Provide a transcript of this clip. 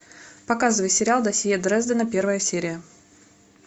показывай сериал досье дрездена первая серия